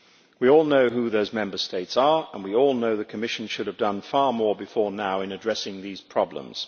We all know who those Member States are, and we all know the Commission should have done far more before now in addressing these problems.